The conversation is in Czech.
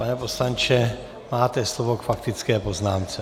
Pane poslanče, máte slovo k faktické poznámce.